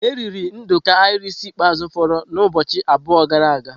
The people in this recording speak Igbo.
E eriri nduku Irish ikpeazụ foro na ụbọchị abụọ gara aga.